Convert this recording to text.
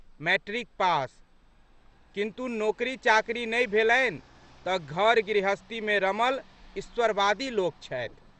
Matric pass. किन्तु, नोकरी चाकरी नहि भेलनि तऽ घरगृहस्थीमे रमल ईश्वरवादी लोक छथि।